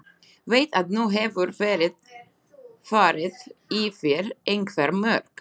Veit að nú hefur verið farið yfir einhver mörk.